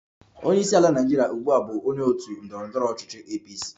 Onye isi ala Naịjirịa ugbu a bụ onye otu ndọrọ ndọrọ ọchịchị APC